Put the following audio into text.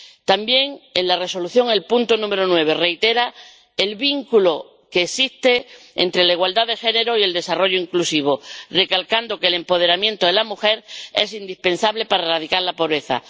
También en la Resolución, el punto número 9 reitera el vínculo que existe entre la igualdad de género y el desarrollo inclusivo, recalcando que el empoderamiento de la mujer es indispensable para erradicar la pobreza.